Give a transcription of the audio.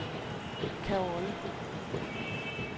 Caorle